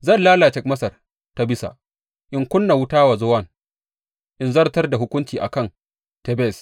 Zan lalace Masar ta Bisa in ƙuna wuta wa Zowan in zartar da hukunci a kan Tebes.